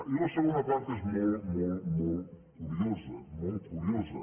i la segona part és molt molt molt curiosa molt curiosa